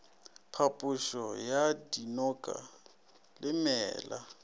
phapošo ya dinoka le meela